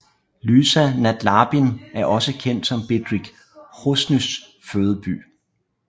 Lysá nad Labem er også kendt som Bedřich Hroznýs fødeby